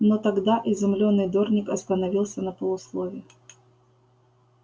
но тогда изумлённый дорник остановился на полуслове